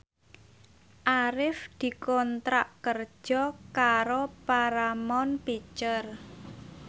Arif dikontrak kerja karo Paramount Picture